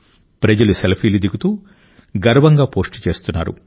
ప్రజలు సెల్ఫీలు దిగుతూ గర్వంగా పోస్ట్ చేస్తున్నారు